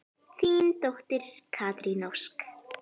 Þín dóttir, Katrín Ósk.